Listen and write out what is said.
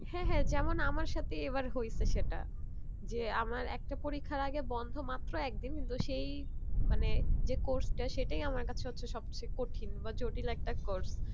হ্যাঁ হ্যাঁ যেমন আমার সাথেই এবার হয়েছে সেটা যে আমার একটা পরীক্ষার আগে বন্ধ মাত্র একদিন কিন্তু সেই মানে যে course টা সেটাই আমার কাছে হচ্ছে সব চেয়ে কঠিন বা জটিল একটা course